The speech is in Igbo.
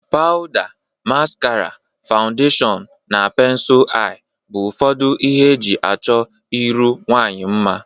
Pawda, maskara, fawundeshọn na pensul anya bụ ufọdụ ihe e ji achọ iru nwaanyị mma.